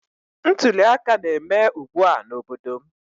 Ntuli aka na-eme ugbua n'obodo m